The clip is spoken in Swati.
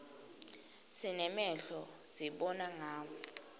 sinemehlo sibona ngawo